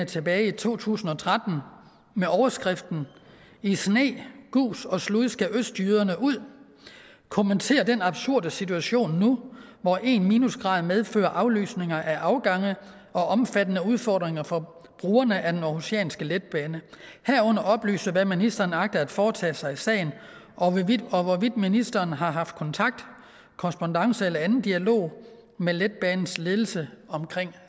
tilbage i to tusind og tretten med overskriften i sne gus og slud skal østjyderne ud kommentere den absurde situation nu hvor en minusgrad medfører aflysninger af afgange og omfattende udfordringer for brugerne af den aarhusianske letbane herunder oplyse hvad ministeren agter at foretage sig i sagen og hvorvidt ministeren har haft kontakt korrespondance eller anden dialog med letbanens ledelse om